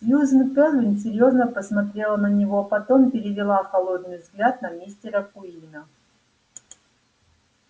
сьюзен кэлвин серьёзно посмотрела на него потом перевела холодный взгляд на мистера куинна